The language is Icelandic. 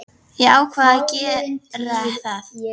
Ég ákvað að gera það.